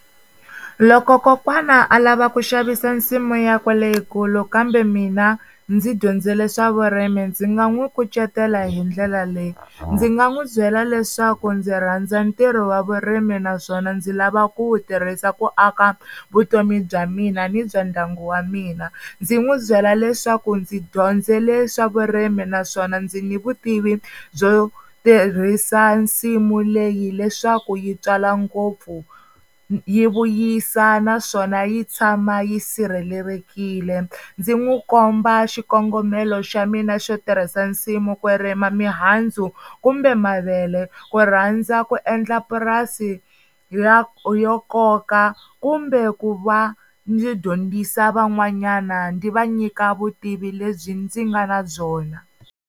Loko kokwana a lava ku xavisa nsimu ya kwe leyikulu kambe mina ndzi dyondzele swa vurimi ndzi nga n'wi kucetela hi ndlela leyi, ndzi nga n'wi byela leswaku ndzi rhandza ntirho wa vurimi naswona ndzi lava ku wu tirhisa ku aka vutomi bya mina ni bya ndyangu wa mina, ndzi n'wi byela leswaku ndzi dyondzele swa vurimi naswona ndzi ni vutivi byo tirhisa nsimu leyi leswaku yi tswala ngopfu yi vuyisa naswona yi tshama yi sirhelelekile, ndzi n'wi komba xikongomelo xa mina xo tirhisa nsimu ku rima mihandzu kumbe mavele ku rhandza ku endla purasi ya yo koka kumbe ku va ndzi dyondzisa van'wanyana ndzi va nyika vutivi lebyi ndzi nga na byona.